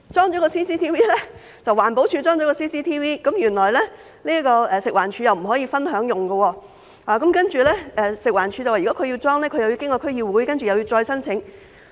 不過，環境保護署安裝了 CCTV 後，原來食物環境衞生署卻不可以分享使用，而食環署表示，如果他們要安裝，則須經區議會，又要再申請。